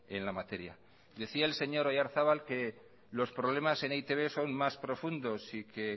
en la materia decía el señor oyarzabal que los problemas en e i te be son más profundos y que